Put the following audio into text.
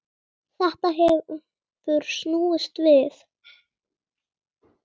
Þetta hefur snúist við.